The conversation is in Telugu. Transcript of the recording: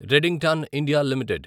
Redington India limited